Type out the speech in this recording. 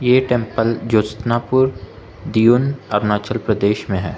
ये टेंपल जो जोशनापुर दिऊं अरुणाचल प्रदेश में है।